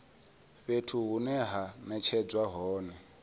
fhethu hune ha netshedzwa hone